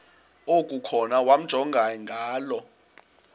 okukhona wamjongay ngaloo